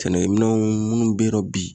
Sɛnɛkɛminɛnw munnu be ye nɔ bi